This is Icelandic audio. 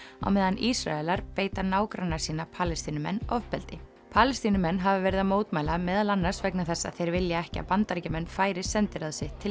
á meðan Ísraelar beita nágranna sína Palestínumenn ofbeldi Palestínumenn hafa verið að mótmæla meðal annars vegna þess að þeir vilja ekki að Bandaríkjamenn færi sendiráð sitt til